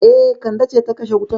E, Kande ce ta kashe wutan.